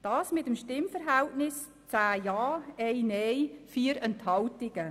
Diess mit dem Stimmverhältnis von 10 Ja- gegen 1 Neinstimme bei 4 Enthaltungen.